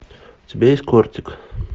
у тебя есть кортик